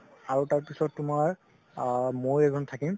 আৰু তাৰ পিছত তুমাৰ আ মই এজন থাকিম